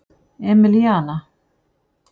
Emilíana